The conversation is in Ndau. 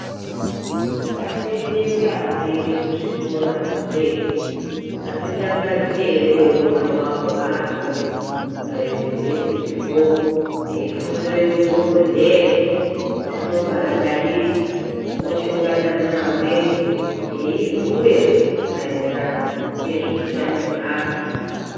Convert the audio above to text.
Ngatiendese ana edu kuzvikora anhuwe. Azvidakadzi ere weiona wako apo payunivhesitipo eyifundira hudhokodheya. Zvinobadadisa oshongana neamweni eyibhuya mayererano nezveutano hwevantu.